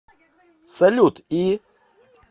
салют и